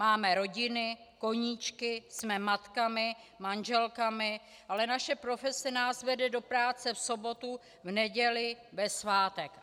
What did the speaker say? Máme rodiny, koníčky, jsme matkami, manželkami, ale naše profese nás vede do práce v sobotu, v neděli, ve svátek.